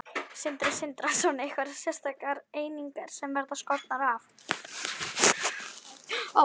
Sindri Sindrason: Einhverjar sérstakar einingar sem verða skornar af?